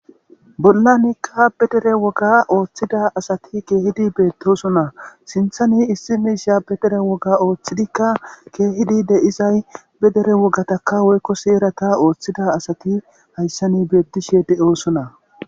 Bollanikka pedere woga ooththida asati keehidi beettoosona. Sinthani issi miishiya pedere woga ooththidikka keehidi de7izay pedere wogataka woykko seerata ooththida asati hayssani beettishe de7oosona.